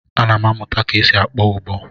Ana m amụta ka e si akpọ ụbọ.